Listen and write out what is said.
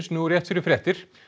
nú rétt fyrir fréttir